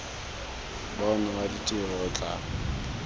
bona wa ditiro o tla